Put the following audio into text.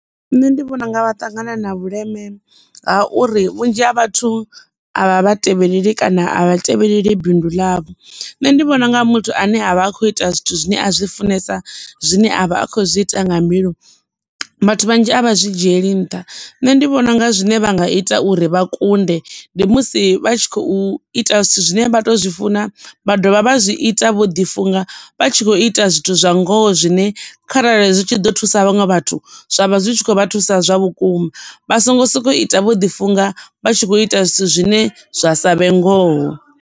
Nṋe ndi vhona unga vha ṱangana na vhuleme ha uri vhunzhi ha vhathu a vha vha tevheleleli kana a vha tevheleleli bindu ḽavho. Nṋe ndi vhona unga muthu ane avha a kho ita zwithu zwine a zwi funesa zwine avha a kho zwi ita nga mbilu vhathu vhanzhi a vha zwi dzhieli nṱha, nṋe ndi vhona unga zwine vha nga ita uri vha kunde ndi musi vha tshi khou ita zwithu zwine vha to zwi funa vha dovha vha zwi ita vho ḓi funga vha u ita zwithu zwa ngoho zwine kharali zwi tshi ḓo thusa vhaṅwe vhathu, zwavha zwi tshi khou vha thusa zwa vhukuma vha songo sokou ita vho ḓi funga vha tshi kho ita zwithu zwine zwa savhe ngoho.